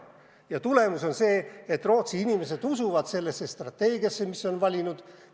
Ja tulemus on see, et Rootsi inimesed usuvad strateegiasse, mis on valitud.